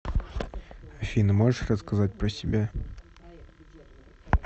афина можешь рассказать про себя